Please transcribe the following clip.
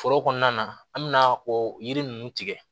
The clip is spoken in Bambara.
Foro kɔnɔna na an bɛ na o yiri ninnu tigɛ